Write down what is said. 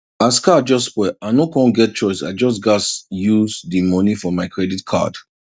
as car just spoil i no con get choice i just gas use di money for my credit card